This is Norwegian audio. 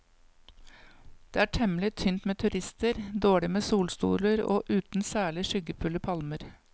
Det er temmelig tynt med turister, dårlig med solstoler og uten særlig skyggefulle palmer.